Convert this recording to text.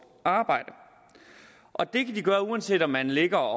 arbejde og det kan de gøre uanset om man ligger